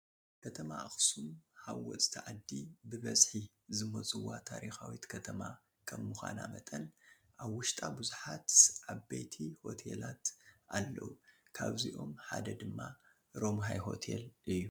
ከተማ ኣኽሱም ሃወፅቲ ዓዲ ብብዝሒ ዝመፁዋ ታሪካዊት ከተማ ከም ምዃና መጠን ኣብ ውሽጣ ብዙሓት ዓበይሆቴላት ኣለዉ፡፡ ካብዚኣም ሓደ ድማ ረምሃይ ሆቴል እዩ፡፡